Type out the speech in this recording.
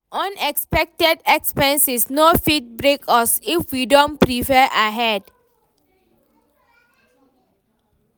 Unexpected expenses no fit break us if we don prepare ahead.